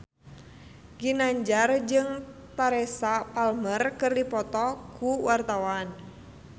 Ginanjar jeung Teresa Palmer keur dipoto ku wartawan